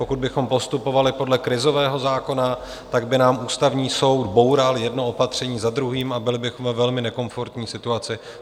Pokud bychom postupovali podle krizového zákona, tak by nám Ústavní soud boural jedno opatření za druhým a byli bychom ve velmi nekomfortní situaci.